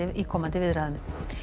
í komandi viðræðum